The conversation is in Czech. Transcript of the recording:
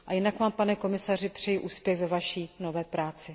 A jinak vám, pane komisaři, přeji úspěch ve vaší nové práci.